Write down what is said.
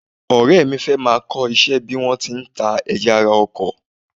Ọ̀rẹ́ mi fẹ́ máa kọ́ iṣẹ́ bí wọ́n ti ń ta ẹ̀yà ara ọkọ̀